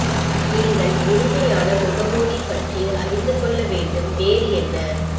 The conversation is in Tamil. நீங்கள் இனிமையான முகமூடி பற்றி அறிந்து கொள்ள வேண்டும் வேறு என்ன